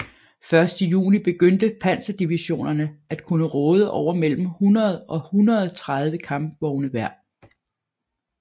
Først i juni begyndte panserdivisionerne at kunne råde over mellem 100 og 130 kampvogne hver